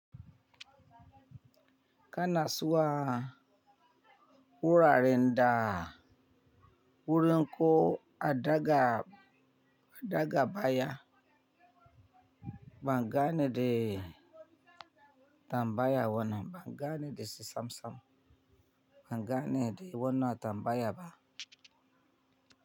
Kana zuwa wuraren da wurin ko a daga, a daga baya? Ban gane de tambaya wannan, ban gane de si sam sam. Ban gane de wannan tambaya ba.